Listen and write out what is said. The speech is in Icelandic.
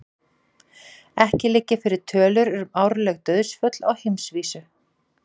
Ekki liggja fyrir tölur um árleg dauðsföll á heimsvísu.